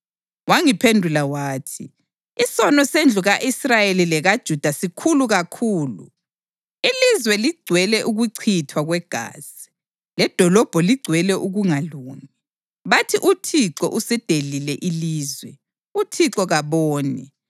Wangiphendula wathi, “Isono sendlu ka-Israyeli lekaJuda sikhulu kakhulu; ilizwe ligcwele ukuchithwa kwegazi, ledolobho ligcwele ukungalungi. Bathi, ‘ UThixo uselidelile ilizwe; uThixo kaboni.’